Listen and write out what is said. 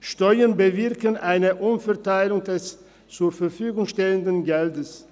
Steuern bewirken eine Umverteilung des zur Verfügung stehenden Geldes.